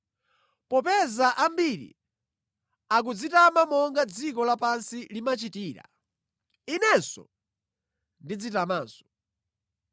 Popeza ambiri akudzitama monga dziko lapansi limachitira, inenso ndidzitamanso.